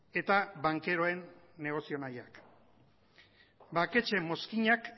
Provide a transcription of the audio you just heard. eta bankeroen negozio mailak banketxeen mozkinak